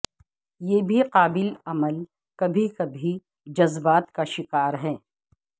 یہ بھی قابل عمل کبھی کبھی جذبات کا شکار ہے